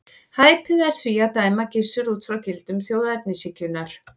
Hæpið er því að dæma Gissur út frá gildum þjóðernishyggjunnar.